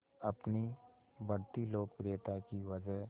अपनी बढ़ती लोकप्रियता की वजह